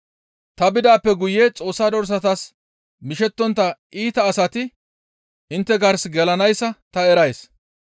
Ta bidaappe guye Xoossa dorsatas mishettontta iita asati intte gars gelanayssa ta erays.